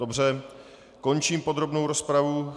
Dobře, končím podrobnou rozpravu.